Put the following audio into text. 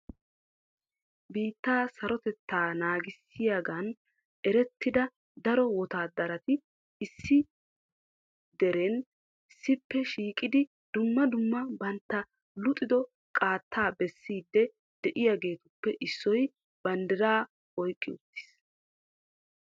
Biittee sarotettaa naagissiyoogan erettida daro wottaadarati issi jeeran issippe shiiqidi dumma dumma bantta luxido qaata bessidi de'iyaageetippe issoy banddiraa oyqqi uttiis.